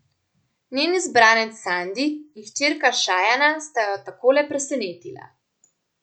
Njen izbranec Sandi in hčerka Šajana sta jo takole presenetila.